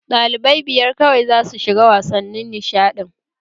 Dalibai biyar kawai za su shiga wasannin nishaɗin!